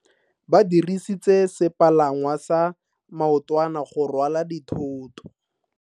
Ba dirisitse sepalangwasa maotwana go rwala dithoto.